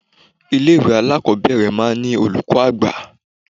Ilé ìwé alákọ̀ọ́bẹ̀rẹ̀ máa ń ní olùkọ́ àgbà.